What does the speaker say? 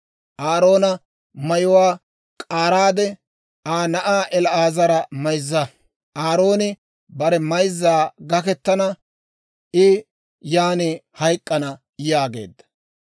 Aaroona mayuwaa k'aaraade, Aa na'aa El"aazara mayzza. Aarooni bare mayzzan gakettana; I yan hayk'k'ana» yaageedda.